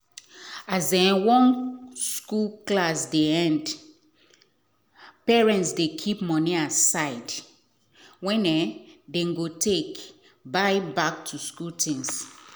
as um one school clsss dey end parent dey keep money aside wen um them go take buy back to school things